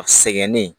A sɛgɛnnen